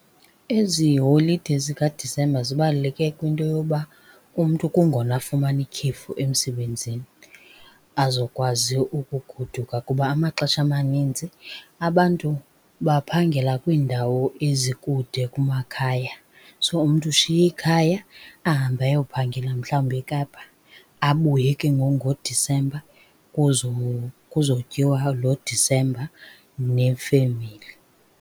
Ezibholide zikaDisemba zibaluleke kwinto yoba umntu kungona afumana ikhefu emsebenzini azokwazi ukugoduka kuba amaxesha amaninzi, abantu baphangela kwiindawo ezikude kumakhaya. So, umntu ushiye ikhaya ahambe ayophangela mhlawumbi eKapa abuye, ke ngoku ngoDisemba kuzotyiwa lo Disemba nefemeli.